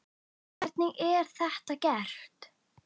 Hvernig er þetta gert?